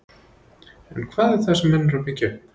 En hvað er það sem menn eru að byggja upp?